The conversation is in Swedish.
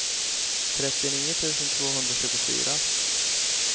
trettionio tusen tvåhundratjugofyra